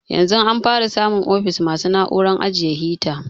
Yanzun an fara samun ofis masu na'uran ajiye halrta